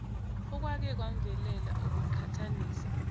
okwake kwamvelela ukuqhathanisa